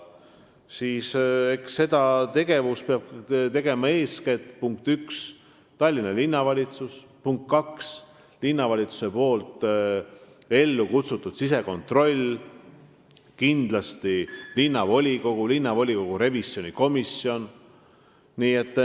Selle hinnangu peab andma, punkt üks, eelkõige Tallinna Linnavalitsus, ning, punkt kaks, linnavalitsuse ellu kutsutud sisekontroll ning kindlasti linnavolikogu ja linnavolikogu revisjonikomisjon.